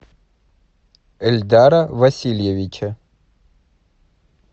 эльдара васильевича